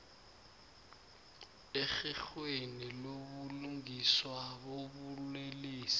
erherhweni lobulungiswa bobulelesi